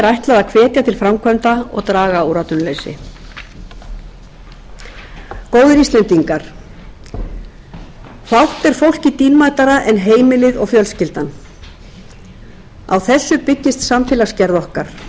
ætlað að hvetja til framkvæmda og draga úr atvinnuleysi góðir íslendingar fátt er fólki dýrmætara en heimilið og fjölskyldan á þessu byggist samfélagsgerð okkar það